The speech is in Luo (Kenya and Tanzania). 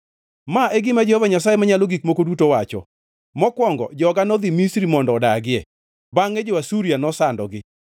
Ma e gima Jehova Nyasaye Manyalo Gik Moko Duto wacho: “Mokwongo joga nodhi Misri mondo odagie, bangʼe jo-Asuria nosandogi.